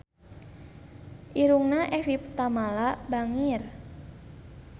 Irungna Evie Tamala bangir